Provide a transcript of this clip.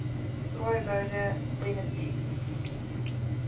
swaaiboude de nitief